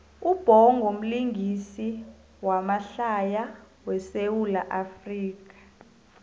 ubhongo mlingisi wamahlaya we sawula afrika